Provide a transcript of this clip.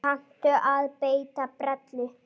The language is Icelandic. Kanntu að beita brellu?